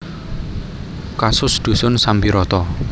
Kasus Dusun Sambiroto